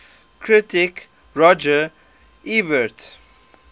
critic roger ebert